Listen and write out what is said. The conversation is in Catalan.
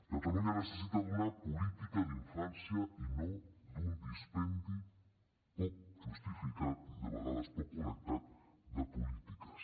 catalunya necessita una política d’infància i no un dispendi poc justificat i de vegades poc connectat de polítiques